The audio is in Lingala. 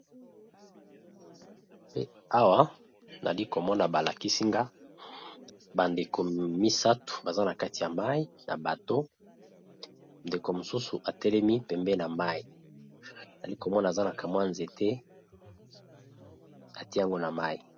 Awa nali komona balakisinga bandeko misato baza na kati ya mai na bato ndeko mosusu atelemi pembe na mai nali komona azanaka mwa nzete atiyango na mai.